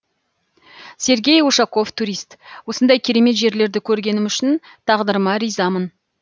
сергей ушаков турист осындай керемет жерлерді көргенім үшін тағдырыма ризамын